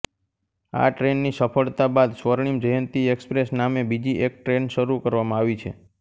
આ ટ્રેનની સફળતા બાદ સ્વર્ણીમ જ્યંતિ એક્સપ્રેસ નામે બીજી એક ટ્રેન શરૂ કરવામાં આવી છે